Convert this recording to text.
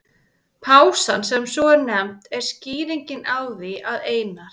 Pásan, sem svo er nefnd, er skýringin á því að Einar